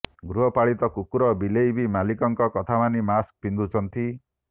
ଗୃହ ପାଳିତ କୁକୁର ବିଲେଇବି ମାଲିକଙ୍କ କଥାମାନି ମାସ୍କ ପିନ୍ଧୁଛନ୍ତି